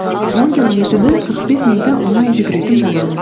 он километрді қырық бес минутта оңай жүгіретін боламын